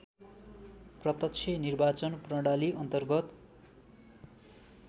प्रत्यक्ष निर्वाचन प्रणालीअन्तर्गत